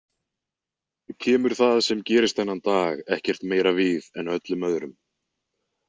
Kemur það sem gerist þennan dag ekkert meira við en öllum öðrum.